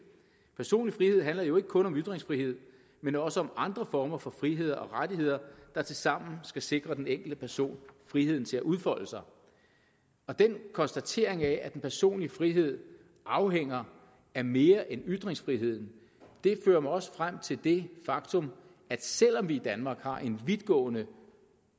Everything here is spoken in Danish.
personlig frihed handler jo ikke kun om ytringsfrihed men også om andre former for frihed og rettigheder der tilsammen skal sikre den enkelte person friheden til at udfolde sig og den konstatering af at den personlige frihed afhænger af mere end ytringsfriheden fører mig også frem til det faktum at selv om vi i danmark har en vidtgående